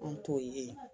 An t'o ye